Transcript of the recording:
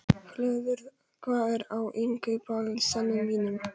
Hlöður, hvað er á innkaupalistanum mínum?